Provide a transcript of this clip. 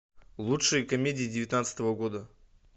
лучшие комедии девятнадцатого года